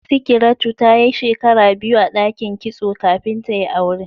sikiratu tayi shekara biyu a dakin kitso kafin tayi aure